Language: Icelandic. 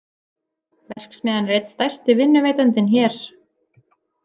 Verksmiðjan er einn stærsti vinnuveitandinn hér?